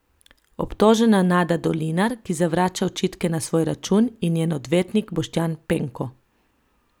Obtožena Nada Dolinar, ki zavrača očitke na svoj račun, in njen odvetnik Boštjan Penko.